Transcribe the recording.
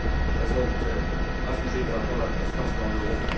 Elles ont frappé gravement la confiance dans l'euro.